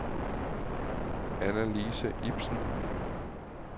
Annalise Ibsen